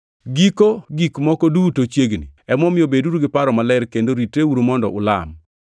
Giko gik moko duto chiegni. Emomiyo beduru gi paro maler kendo ritreuru mondo ulam.